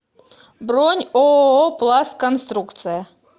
бронь ооо пластконструкция